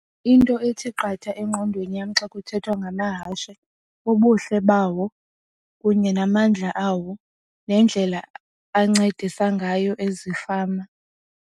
Into ethi qatha engqondweni yam xa kuthethwa ngamahashe bubuhle bawo kunye namandla awo nendlela ancedisa ngayo ezifama.